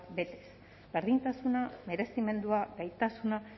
betez berdintasuna merezimendua gaitasuna